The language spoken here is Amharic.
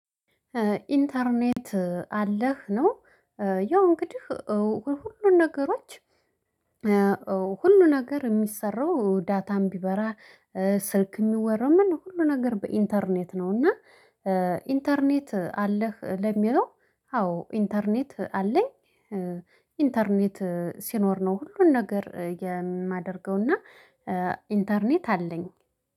ኢንተርኔት አለህ ነው። ያው እንግዲህ ሁሉን ነገሮች። ሁሉ ነገር የሚሰራው ዳታም ቢበራ ስልክ የሚወራው ሁሉ ነገር በኢንተርኔት ነው። እና ኢንተርኔት አለህ ለሚለው? አዎ ኢንተርኔት አለኝ። ኢንተርኔት ሲኖር ነው ሁሉን ነገር የማደርገውና ኢንተርኔት አለኝ